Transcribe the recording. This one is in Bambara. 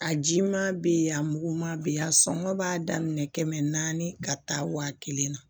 A jiman be yen a muguman bɛ yen a sɔngɔ b'a daminɛ kɛmɛ naani ka taa waa kelen na